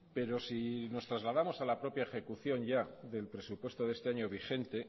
pero si nos trasladamos a la propia ejecución ya del presupuesto de este año vigente